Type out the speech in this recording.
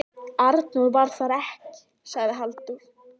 Arnór var þar ekki, sagði Halldór.